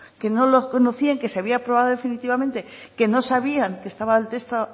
que no lo conocían que se había aprobado definitivamente que no sabían que estaba el texto